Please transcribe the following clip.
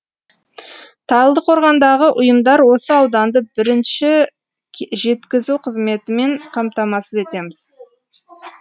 талдықорғандағы ұйымдар осы ауданды бірінше жеткізу қызметімен қамтамасыз етеміз